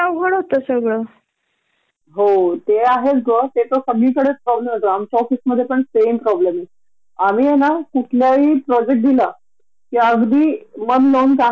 आणि कधी अशी एखादी ऑफर असते एच.आर. डीपार्टमेंट कडण कि वेळेच्या आधी लॉग करा आणि बट्स मिळवा किंवा बोनस मिळवा तो त आम्हाला कधीच देत नाही ते ग.